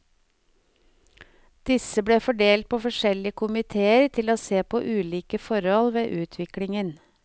Disse ble fordelt på forskjellige komiteer til å se på ulike forhold ved utviklingen.